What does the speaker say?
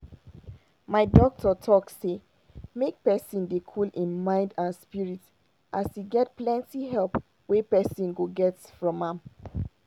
my doctor talk say make pesin dey cool im mind and spirit as e get plenty help wey pesin go get from am.